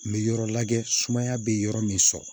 N bɛ yɔrɔ lajɛ sumaya bɛ yɔrɔ min sɔrɔ